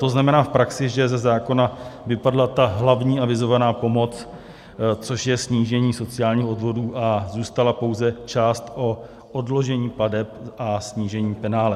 To znamená v praxi, že ze zákona vypadla ta hlavní avizovaná pomoc, což je snížení sociálních odvodů, a zůstala pouze část o odložení plateb a snížení penále.